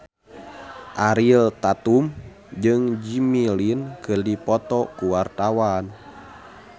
Ariel Tatum jeung Jimmy Lin keur dipoto ku wartawan